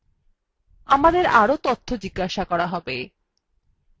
আমাদে18আরো তথ্য জিজ্ঞাসা করা হবে